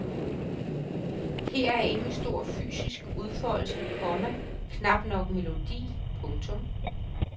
Her er ingen stor fysisk udfoldelse, komma knap nok melodi. punktum